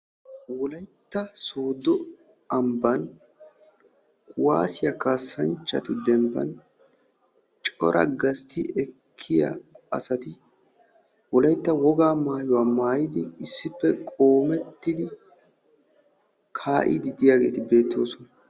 wolaytta sooddo ambban kuwaassiyaa kaassanchchatu dembban cora gastti ekkiyaa asati wolaytta woga maayuwa maayyidi issippeqoomettidi kaa'ide de'iyaageeti beettoosona